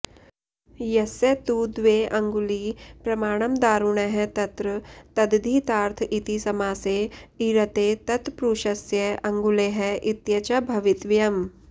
यस्य तु द्वे अङ्गुली प्रमाणम् दारुणः तत्र तद्धितार्थ इति समासे इऋते तत्प्रुषस्य अङ्गुलेः इत्यचा भवितव्यम्